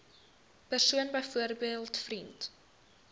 persoon byvoorbeeld vriend